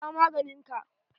Sha maganin ka!